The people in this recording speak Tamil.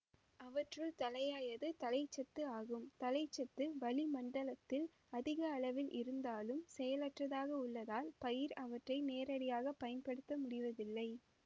அவற்றுள் தலையாயது தழைச்சத்து ஆகும் தழைச்சத்து வழிமண்டலத்தில் அதிக அளவில் இருந்தாலும் செயலற்றதாக உள்ளதால் பயிர் அவற்றை நேரடியாக பயன்படுத்த முடிவதில்லை